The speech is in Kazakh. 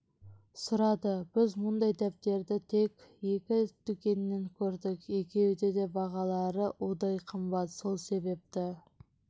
сұрады біз мұндай дәптерді тек екі дүкеннен көрдік екеуінде де бағалары удай қымбат сол себепті